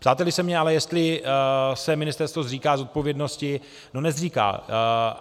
Ptáte-li se mě ale, jestli se ministerstvo zříká zodpovědnosti - no nezříká.